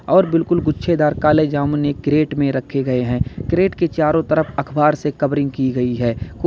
और बिल्कुल गुच्छे दार काले जामुन एक क्रेट में रखे गए हैं क्रेट के चारों तरफ अखबार से कवरिंग की गई है कोई--